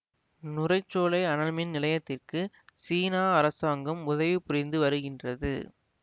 நுரைச்சோலை அனல்மின் நிலையத்திற்கு சீனா அரசாங்கம் உதவி புரிந்து வருகின்றது